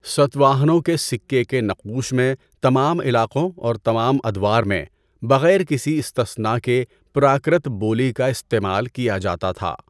ساتواہنوں کے سکے کے نقوش میں، تمام علاقوں اور تمام ادوار میں، بغیر کسی استثناء کے پراکرت بولی کا استعمال کیا جاتا تھا۔